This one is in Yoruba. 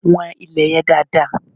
Wọ́n ilè yẹn dáadáa!